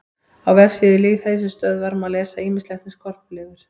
Á vefsíðu Lýðheilsustöðvar má lesa ýmislegt um skorpulifur.